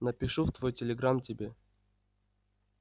напишу в твой телеграм тебе